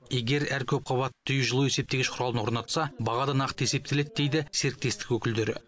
егер әр көпқабатты үй жылу есептегіш құралын орнатса баға да нақты есептеледі дейді серіктестік өкілдері